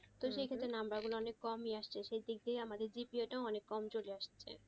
তো সেক্ষেত্রে number গুলা অনেক কমই আসছে শেষের দিক দিয়ে আমাদের অনেক কম চলে আসছে